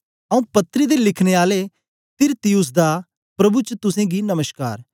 आऊँ पत्री दे लिखने आले तिरतियुस दा प्रभु च तुसेंगी नमश्कार